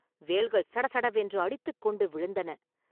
வேல்கள் சடசடவென்று அடித்துக் கொண்டு விழுந்தன.